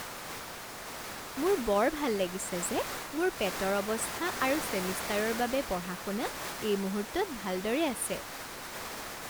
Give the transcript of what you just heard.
মোৰ বৰ ভাল লাগিছে যে মোৰ পেটৰ অৱস্থা আৰু ছেমিষ্টাৰৰ বাবে পঢ়া শুনা এই মুহূৰ্তত ভালদৰে আছে।